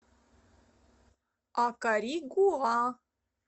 акаригуа